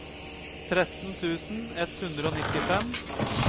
tretten tusen ett hundre og nittifem